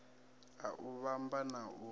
a u vhumba na u